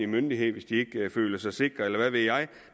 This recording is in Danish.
myndighed hvis de ikke føler sig sikre eller hvad ved jeg